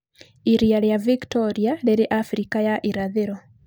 Iria rĩa Victoria rĩrĩ Afrika ya Irathĩro.